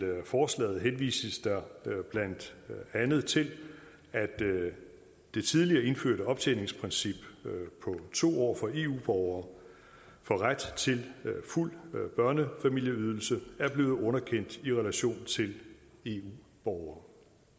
forslaget henvises der blandt andet til at det tidligere indførte optjeningsprincip på to år for eu borgere for ret til fuld børnefamilieydelse er blevet underkendt i relation til eu borgere